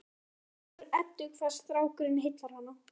Það gleður Eddu hvað strákurinn heillar hana.